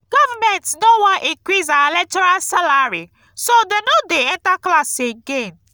government no wan increase our lecturers salary so dey no dey enter class again